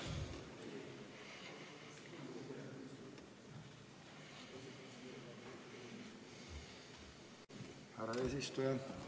Härra eesistuja!